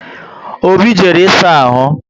Obi jere ị saa ahụ